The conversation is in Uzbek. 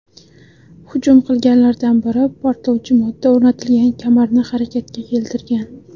Hujum qilganlardan biri portlovchi modda o‘rnatilgan kamarni harakatga keltirgan.